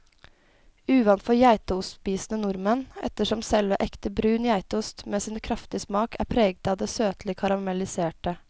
Uvant for geitostspisende nordmenn, ettersom selv ekte brun geitost med sin kraftige smak er preget av det søtlige karamelliserte.